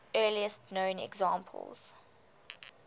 earliest known examples